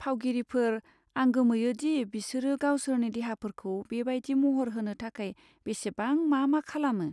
फावगिरिफोर, आं गोमोयो दि बिसोरो गावसोरनि देहाफोरखौ बे बायदि महर होनो थाखाय बेसेबां मा मा खालामो।